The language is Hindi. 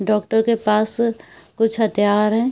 डॉक्टर के पास कुछ हथियार हैं।